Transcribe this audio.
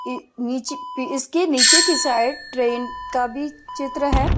इ नीचे पे इसके नीचे की साइड ट्रेन का भी चित्र है।